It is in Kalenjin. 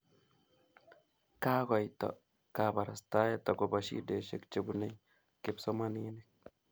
kakoityo kaparastaet akopa shidesiek chepunei kipsomaninik